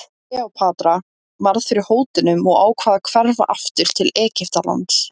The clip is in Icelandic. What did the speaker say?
Kleópatra varð fyrir hótunum og ákvað að hverfa aftur til Egyptalands.